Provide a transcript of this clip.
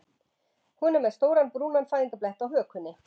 Hún er með stóran brúnan fæðingarblett á hökunni.